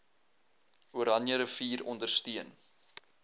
oranje rivier ondersteun